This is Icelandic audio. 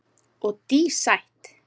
Og dísætt.